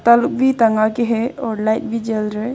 तल भी टंगा के है और लाइट भी जल रहा है।